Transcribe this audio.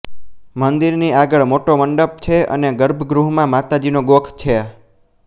મંદિરની આગળ મોટો મંડપ છે અને ગર્ભગૃહમાં માતાજીનો ગોખ છે